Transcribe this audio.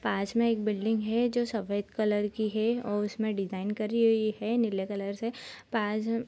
पास में एक बिल्डिंग है जो सफ़ेद कलर की है और उसमें डिज़ाइन करी हुई है नीले कलर से पास --